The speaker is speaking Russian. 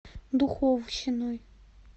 духовщиной